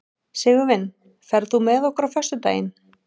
Sigurvin, ferð þú með okkur á föstudaginn?